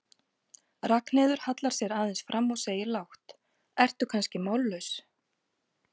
Ragnheiður hallar sér aðeins fram og segir lágt, ertu kannski mállaus?